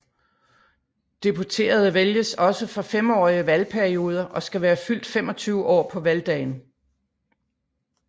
Deputerede vælges også for femårige valgperioder og skal være fyldt 25 år på valgdagen